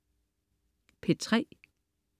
P3: